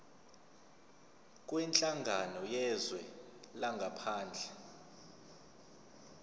kwinhlangano yezwe langaphandle